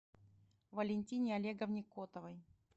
валентине олеговне котовой